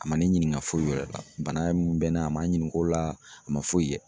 A ma ne ɲininka foyi wɛrɛ la, bana min bɛ n na a ma ɲininka o la a ma foyi kɛ.